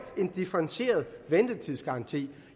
en differentieret ventetidsgaranti